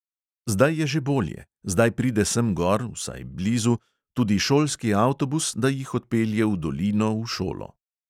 Zdaj je že bolje, zdaj pride sem gor, vsaj blizu, tudi šolski avtobus, da jih odpelje v dolino, v šolo.